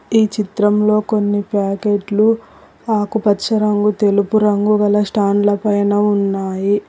ఈ చిత్రంలో కొన్ని ప్యాకెట్లు ఆకుపచ్చ రంగు తెలుపు రంగు గల స్టాండ్ ల పైన ఉన్నాయి.